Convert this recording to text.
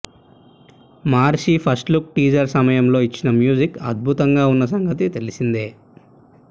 మహర్షి first look teaser సమయంలో ఇచ్చిన music అద్భుతంగా ఉన్న సంగతి తెలిసిందే